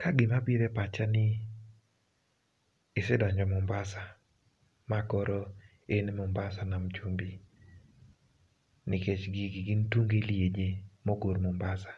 Ka gima biro epacha ni [ pausde ] isee donjo Mombasa. Ma koro in Mombasa nam chumbi nikech gigi gin tunge liaje mogor Mombasa.